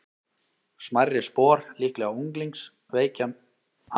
Smærri spor, líklega unglings, víkja meira frá beinni línu en spor hinna fullorðnu.